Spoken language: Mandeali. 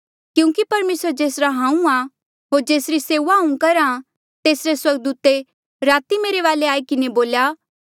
क्यूंकि परमेसर जेसरा हांऊँ आ होर जेसरी सेऊआ हांऊँ करहा तेसरे स्वर्गदूते राती मेरे वाले आई किन्हें बोल्या